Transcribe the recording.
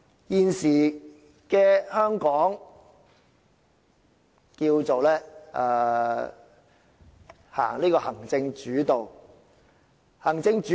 現時香港可謂實施行政主導，何謂行政主導？